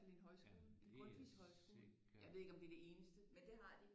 En højskole en Grundtvigsk højskole jeg ved ikke om det er det eneste men det har de